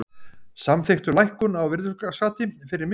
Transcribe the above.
Samþykktu lækkun á virðisaukaskatti fyrir mistök